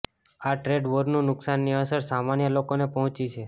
આ ટ્રેડ વોરનું નુકસાનની અસર સામાન્ય લોકોને પહોંચી છે